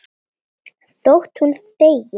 Þótt hún þegi.